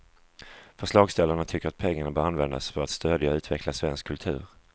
Förslagsställarna tycker att pengarna bör användas för att stödja och utveckla svensk kultur.